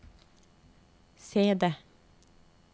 CD